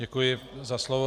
Děkuji za slovo.